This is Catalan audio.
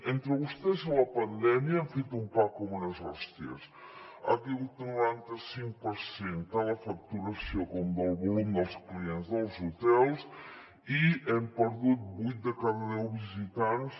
entre vostès i la pandèmia han fet un pa com unes hòsties han caigut el noranta cinc per cent tant la facturació com el volum dels clients dels hotels i hem perdut vuit de cada deu visitants